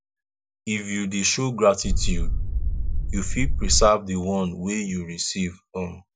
if you de show gratitude you fit preserve di one wey you receive um